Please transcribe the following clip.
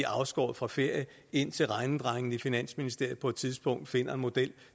afskåret fra ferie indtil regnedrengene i finansministeriet på et tidspunkt finder en model